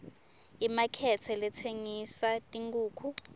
imakethe letsengisa tinkhukhu